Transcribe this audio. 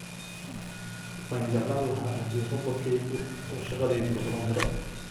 Waan jeclaan lahaa haddii robot-kaygu uu shaqadayda ii qaban karo